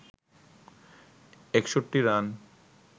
৬১ run